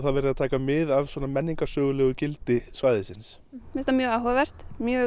verið að taka mið af menningarsögulegu gildi svæðisins mér finnst það mjög áhugavert mjög